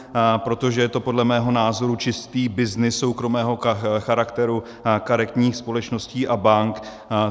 Protože je to podle mého názoru čistý byznys soukromého charakteru karetních společností a bank.